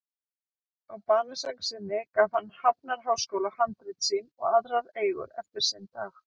Á banasæng sinni gaf hann Hafnarháskóla handrit sín og aðrar eigur eftir sinn dag.